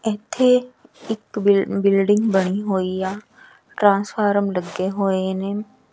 ਇਥੇ ਇਕ ਬਿੱਲ ਬਿਲਡਿੰਗ ਬਣੀ ਹੋਈ ਆ ਟ੍ਰਾਂਸਫਾਰਮ ਲੱਗੇ ਹੋਏ ਨੇ।